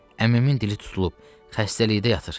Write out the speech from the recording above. Əmimin dili tutulub, xəstəlikdə yatır.